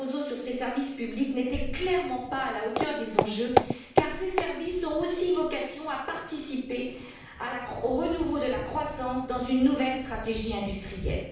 Barroso sur ces services publics n'était clairement pas à la hauteur des enjeux, car ces services ont aussi vocation à participer au renouveau de la croissance dans une nouvelle stratégie industrielle.